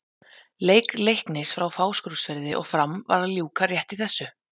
Leik Leiknis frá Fáskrúðsfirði og Fram var að ljúka rétt í þessu.